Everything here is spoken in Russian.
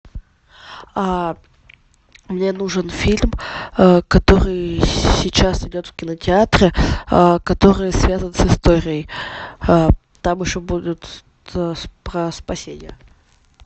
мне нужен фильм который сейчас идет в кинотеатре который связан с историей там еще будут про спасение